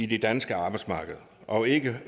det danske arbejdsmarked og ikke